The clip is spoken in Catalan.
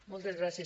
moltes gràcies